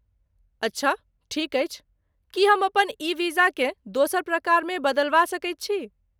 अच्छा, ठीक अछि। की हम अपन ई वीजाकेँ दोसर प्रकारमे बदलबा सकैत छी?